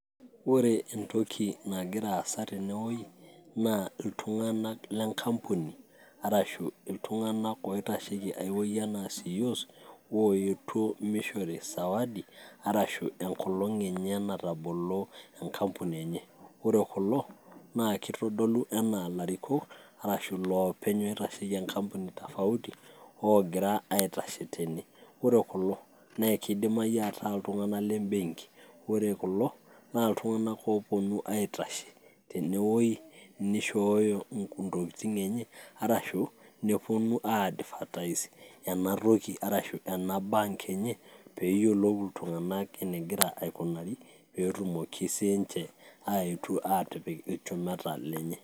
Ore entoki nagira aasa tenewei, nadolta iltung'anak lenkampuni, arashu iltung'anak oitasheki ai woi enaa ceos, oetuo mishori sawadi, arashu enkolong' enye natabolo enkampuni enye. Ore kulo, naa kitodolu enaa larikok, arashu loopeny oitasheki enkampuni tofauti, ogira aitashe tene. Ore kulo, na kidimayu ataa iltung'anak lebenki. Ore kulo, naa iltung'anak oponu aitashe tenewoi, nishooyo intokiting' enye, arshu neponu ai advertise enatoki arashu ena bank enye, peyiolou iltung'anak enegira aikunari, petumoki sinche aetu atipik ilchumeta lenye.